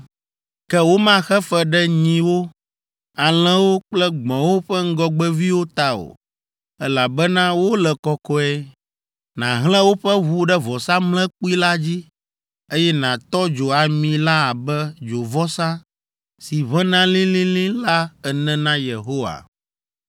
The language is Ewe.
“Ke womaxe fe ɖe nyiwo, alẽwo kple gbɔ̃wo ƒe ŋgɔgbeviwo ta o; elabena wole kɔkɔe. Nàhlẽ woƒe ʋu ɖe vɔsamlekpui la dzi, eye nàtɔ dzo ami la abe dzovɔsa si ʋẽna lĩlĩlĩ la ene na Yehowa.